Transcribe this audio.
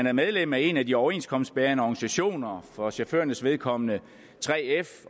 er medlem af en af de overenskomstbærende organisationer for chaufførernes vedkommende 3f